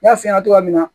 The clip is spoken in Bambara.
N y'a f'i ɲɛna cogoya min na